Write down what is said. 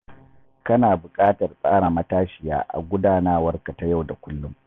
Kana buƙatar tsara matashiya a gudanarwarka ta yau da kullum.